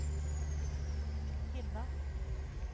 hinna